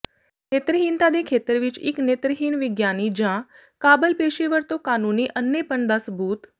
ਨੇਤਰਹੀਨਤਾ ਦੇ ਖੇਤਰ ਵਿੱਚ ਇੱਕ ਨੇਤਰਹੀਣ ਵਿਗਿਆਨੀ ਜਾਂ ਕਾਬਲ ਪੇਸ਼ੇਵਰ ਤੋਂ ਕਾਨੂੰਨੀ ਅੰਨ੍ਹੇਪਣ ਦਾ ਸਬੂਤ